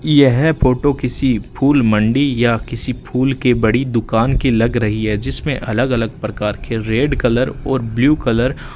यह फोटो किसी फूल मंडी या किसी फूल के बड़ी दुकान की लग रही है जिसमें अलग अलग प्रकार के रेड कलर और ब्लू कलर --